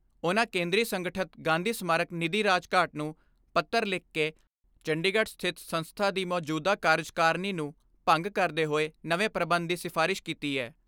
ਉਨ੍ਹਾਂ ਕੇਂਦਰੀ ਸੰਗਠਤ ਗਾਂਧੀ ਸਮਾਰਕ ਨਿੱਧੀ ਰਾਜਘਾਟ ਨੂੰ ਪੱਤਰ ਲਿਖ ਕੇ ਚੰਡੀਗੜ੍ਹ ਸਥਿਤ ਸੰਸਥਾ ਦੀ ਮੌਜੂਦਾ ਕਾਰਜਕਾਰਨੀ ਨੂੰ ਭੰਗ ਕਰਦੇ ਹੋਏ ਨਵੇਂ ਪ੍ਰਬੰਧ ਦੀ ਸਿਫਾਰਿਸ਼ ਕੀਤੀ ਐ।